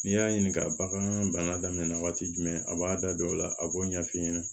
N'i y'a ɲininka bagan bana daminɛ waati jumɛn a b'a da don o la a b'o ɲɛf'i ɲɛna